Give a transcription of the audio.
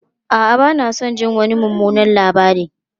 A'a, ba na son jin wani mummunan labari.